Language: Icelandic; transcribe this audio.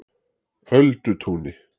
Öldutúni